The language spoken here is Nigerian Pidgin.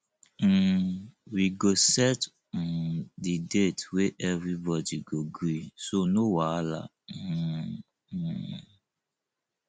um we go set um di date wey everybody go gree so no wahala um um